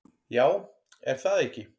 Já, er það ekki?